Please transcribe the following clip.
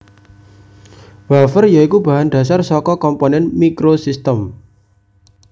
Wafer ya iku bahan dhasar saka komponen microsystem